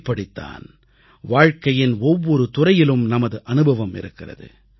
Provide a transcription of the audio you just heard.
இப்படித்தான் வாழ்க்கையின் ஒவ்வொரு துறையிலும் நமது அனுபவம் இருக்கிறது